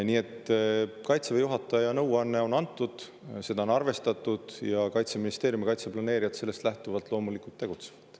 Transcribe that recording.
Nii et Kaitseväe juhataja nõuanne on edasi antud, seda on arvestatud ning Kaitseministeerium ja kaitseplaneerijad sellest lähtuvalt loomulikult tegutsevad.